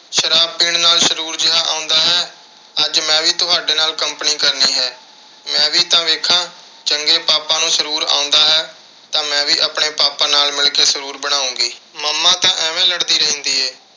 ਸ਼ਰਾਬ ਪੀਣ ਨਾਲ ਸਰੂਰ ਜਿਹਾ ਆਉਂਦਾ ਹੈ। ਅੱਜ ਮੈਂ ਵੀ ਤੁਹਾਡੇ ਨਾਲ company ਕਰਨੀ ਹੈ। ਮੈਂ ਵੀ ਤਾਂ ਦੇਖਾਂ ਕਿ ਜੇ ਪਾਪਾ ਨੂੰ ਸਰੂਰ ਆਉਂਦਾ ਹੈ ਤਾਂ ਮੈਂ ਵੀ ਆਪਣੇ ਪਾਪਾ ਨਾਲ ਮਿਲ ਕੇ ਸਰੂਰ ਬਣਾਉਂਗੀ। mama ਤਾਂ ਐਵੇਂ ਲੜਦੀ ਰਹਿੰਦੀ ਏ।